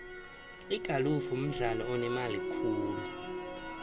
igalfu mdlalo onemali khulu